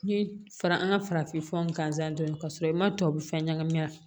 N ye fara an ka farafin furaw gansan dɔɔni k'a sɔrɔ i ma tubabu fɛn ɲagami a la